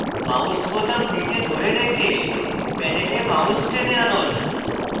mouse বোতাম নীচে ধরে রেখে panel mouse টেনে আনুন